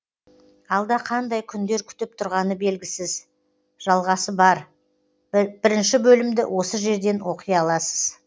алда қандай күндер күтіп тұрғаны белгісіз жалғасы бар бірінші бөлімді осы жерден оқи аласыз